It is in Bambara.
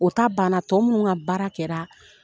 O ta banna tɔ munun ka baara kɛra